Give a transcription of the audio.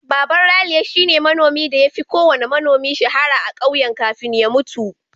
Baban Raliya shine manomin da ya fi kowanne manomi shahara a ƙauyen kafin ya mutu.